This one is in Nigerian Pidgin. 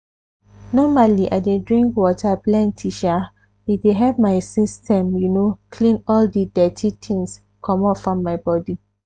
normally i dey drink water plenty sha e dey help my system you know clean all di dirty things commot from my body.